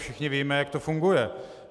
Všichni víme, jak to funguje.